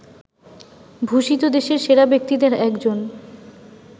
ভূষিত দেশের সেরা ব্যক্তিদের একজন